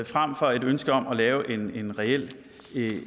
fremfor et ønske om at lave en reel